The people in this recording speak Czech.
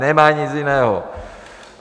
Nemají nic jiného!